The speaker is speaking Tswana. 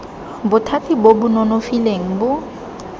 bothati bo bo nonofileng bo